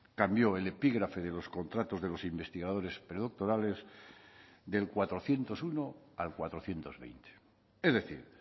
cambió el epígrafe de los contratos de los investigadores predoctorales del cuatrocientos uno al cuatrocientos veinte es decir